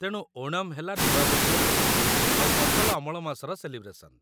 ତେଣୁ ଓଣମ୍ ହେଲା ନୂଆବର୍ଷ ଆଉ ଫସଲ ଅମଳ ମାସର ସେଲିବ୍ରେସନ୍ ।